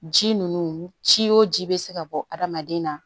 Ji ninnu ci o ji bɛ se ka bɔ adamaden na